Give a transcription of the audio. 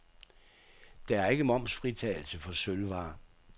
Der er ikke momsfritagelse for sølvvarer.